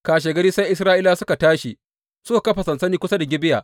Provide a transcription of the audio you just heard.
Kashegari sai Isra’ilawa suka tashi suka kafa sansani kusa da Gibeya.